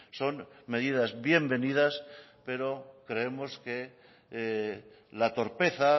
son medidas bienvenidas pero creemos que la torpeza